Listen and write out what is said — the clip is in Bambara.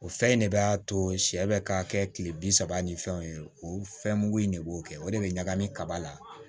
O fɛn in de b'a to sɛ bɛ ka kɛ kile bi saba ni fɛnw ye o fɛn mugu in de b'o kɛ o de be ɲagami kaba la